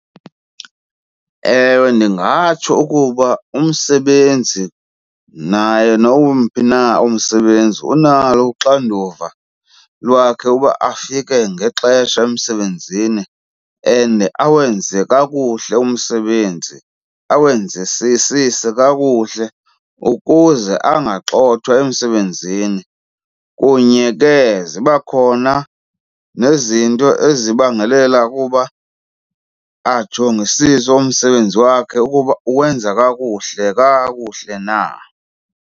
Ewe, ndingatsho ukuba umsebenzi naye nowumphi na umsebenzi unalo uxanduva lwakhe uba afike ngexesha emsebenzini and awenze kakuhle umsebenzi awenzisisise kakuhle ukuze angagxothwa emsebenzini. Kunye ke ziba khona nezinto ezibangela kuba ajongisise umsebenzi wakhe ukuba uwenza kakuhle kakuhle na.